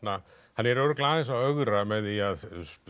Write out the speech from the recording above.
hann er örugglega aðeins að ögra með því að